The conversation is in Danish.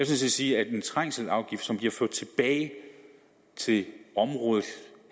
set sige at en trængselsafgift som bliver ført tilbage til området